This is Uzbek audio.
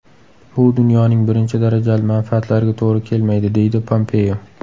Bu dunyoning birinchi darajali manfaatlariga to‘g‘ri kelmaydi”, deydi Pompeo.